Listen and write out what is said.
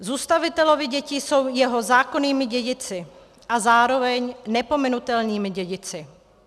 Zůstavitelovy děti jsou jeho zákonnými dědici a zároveň nepominutelnými dědici.